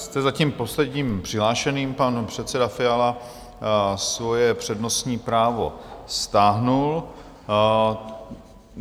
Jste zatím posledním přihlášeným, pan předseda Fiala svoje přednostní právo stáhl.